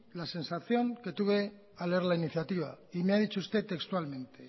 la sensación que tuve al leer la iniciativa y me ha dicho usted textualmente